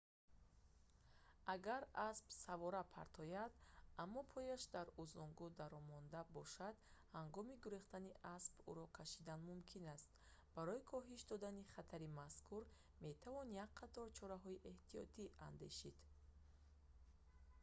агар асп савора партояд аммо пояш дар узангу дармонда бошад ҳангоми гурехтани асп ӯро кашидан мумкин аст барои коҳиш додани хатари мазкур метавон як қатор чораҳои эҳтиётӣ андешид